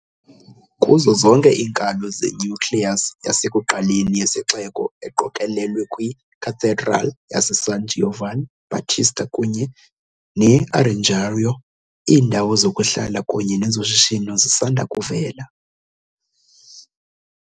Kuzo zonke iinkalo ze-nucleus yasekuqaleni yesixeko, eqokelelwe kwi-cathedral yaseSan Giovanni Battista kunye ne- Arengario, iindawo zokuhlala kunye nezoshishino zisanda kuvela.